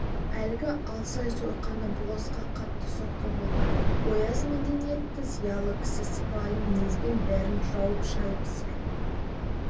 әлгі алсай сойқаны болысқа қатты соққы болды ояз мәдениетті зиялы кісі сыпайы мінезбен бәрін жуып-шайып сыр